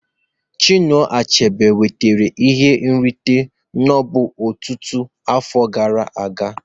Chinua Achebe nwetara ihe nrite Nobel ọtụtụ afọ gara aga